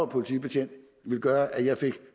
politibetjent ville gøre at jeg fik